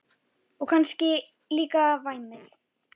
Og kannski líka væmið.